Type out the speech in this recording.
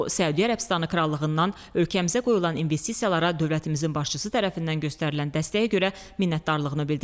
O Səudiyyə Ərəbistanından ölkəmizə qoyulan investisiyalara dövlətimizin başçısı tərəfindən göstərilən dəstəyə görə minnətdarlığını bildirdi.